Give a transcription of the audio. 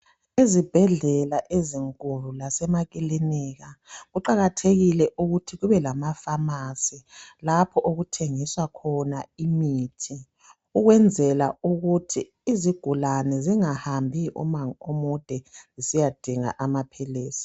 Ezibhedlela ezinkulu lasemakilinika. Kuqakathekile ukuthi kube lamafamasi lapho okuthengiswa khona imithi ukwenzela ukuthi izigulane zingahambi umango omude besiyadinga amaphilisi.